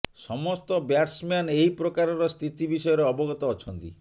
ସମସ୍ତ ବ୍ୟାଟସମ୍ୟାନ ଏହି ପ୍ରକାରର ସ୍ଥିତି ବିଷୟରେ ଅବଗତ ଅଛନ୍ତି